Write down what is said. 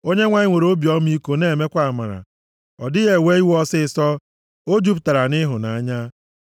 Onyenwe anyị nwere obi ọmịiko na-emekwa amara. Ọ dịghị ewe iwe ọsịịsọ, o jupụtara nʼịhụnanya.